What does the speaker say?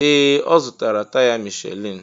Ee! Ọ zụtara taya Michelin.